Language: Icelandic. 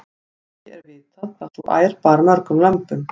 ekki er vitað hvað sú ær bar mörgum lömbum